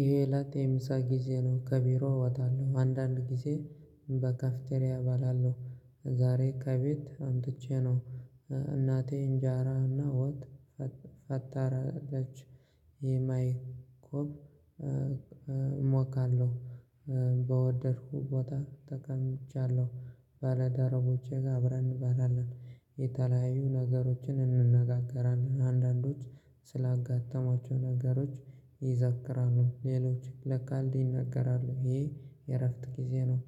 ይሄ ላቴም ሳጊዜ ነው ከቢሮ ወጣለሁ አንዳንድ ጊዜ በካፍቴሬ እባላለሁ ዛሬ ከቤት አምጥቼ ነው። እናቴ እንጃራና ወጥ አታረደች የማይኮብ እሞካለሁ። በወደድኩ ቦታ ተቀምጫለሁ ባለደረቦቼ ጋር አብረን እንባላለን የተለያዩ ነገሮችን እንነጋገራለን አንዳንዶች ስላጋተማቸው ነገሮች ይዘክራሉ ሌሎች ለካልዲ ይነገራሉ ይሄ የእረፍት ጊዜ ነው።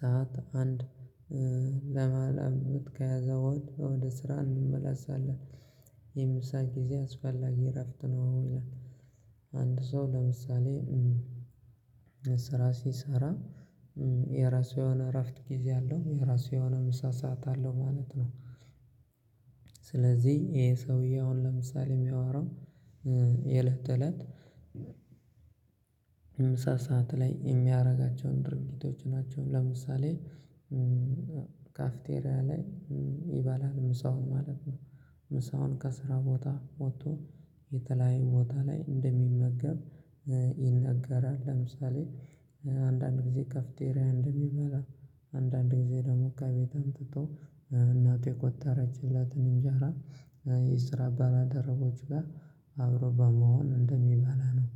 ሰዓት አንድ ለመላው ብትከያዘው ወደ ስራ እንመላሳለን የምሳ ጊዜ አስፈላጊ እረፍት ነው። አንድ ሰው ለምሳሌ ስራ ሲሰራ የራሱ የሆነ እረፍት ጊዜ አለው የራሱ የሆነ ምሳ ሰዓት አለው ማለት ነው። ይሄ ሰውዬ አሁን ለምሳሌ የሚያወራው የለህት እለት ምሳ ሰዓት ላይ የሚያደርጋቸውን ድርጊቶች ናቸው። ለምሳሌ ካፍቴሪያ ላይ ይባላል ምሳውን ማለት ነው። ምሳውን ከስራ ቦታ ወጥቶ የተለያዩ ቦታ ላይ እንደሚመገብ ይነገራል። ለምሳሌ አንዳንድ ጊዜ ከፍተሬ እንደሚባል አንዳንድ ጊዜ ደግሞ ከቤት አምጥቶ እናት የቆጠረችለትን እንጀራ የስራ አባላ ደረቦች ጋር አብሮ በመሆን እንደሚባላ ነው።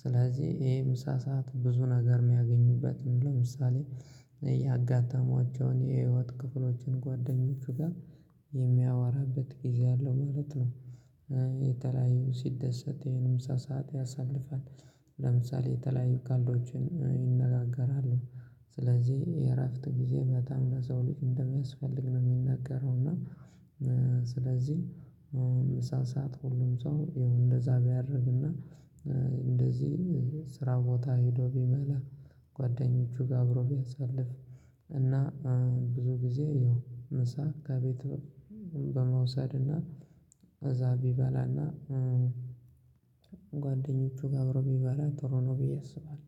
ስለዚህ ይሄ ምሳ ሰዓት ብዙ ነገር የሚያገኙበትን ለምሳሌ ያጋጠሟቸውን የህይወት ክፍሎችን ጓደኞች ጋር የሚያወራበት ጊዜ አለው ማለት ነው። የተለያዩ ሲደሰት ይሄንም ሳሳት ያሳልፋል ለምሳሌ የተለያዩ ካልዶችን ይነጋገራሉ። ስለዚህ የእረፍት ጊዜ በጣም ለሰው ልጅ እንደሚያስፈልግ ነው የሚነገረው። እና ስለዚህ ምሳ ሰዓት ሁሉም ሰው እንደዛ ቢያርግና እንደዚህ ስራ ቦታ ሄዶ ቢበላ ጓደኞቹ ጋር አብሮ ቢያሳልፍ እና ብዙ ጊዜ ያው ምሳ ከቤቱ በመውሰድና እዛ ቢበላና ጓደኞቹ ጋብሮ ቢባላ ጥሩ ነው ብዬ አስባለሁ